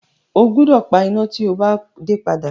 O gbúdọ̀ pa iná tí o bá dé padà.